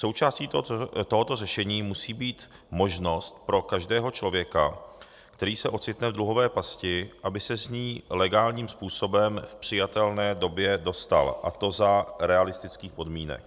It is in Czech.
Součástí tohoto řešení musí být možnost pro každého člověka, který se ocitne v dluhové pasti, aby se z ní legálním způsobem v přijatelné době dostal, a to za realistických podmínek.